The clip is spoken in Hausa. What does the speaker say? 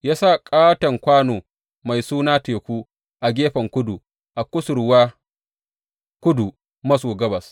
Ya sa ƙaton kwano mai suna Teku a gefen kudu, a kusurwa kudu maso gabas.